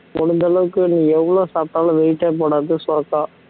முடிஞ்ச அளவுக்கு நீங்க எவ்வளவு சாப்பிட்டாலும் weight ஏ போடாது சுரக்கா